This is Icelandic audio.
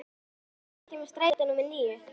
Lúsía, hvenær kemur strætó númer níu?